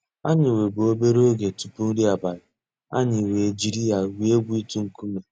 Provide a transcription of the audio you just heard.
Ànyị̀ nwèbù obere ògè túpù nrí àbàlị̀, ànyị̀ wee jiri ya gwuo ègwù itu nkume.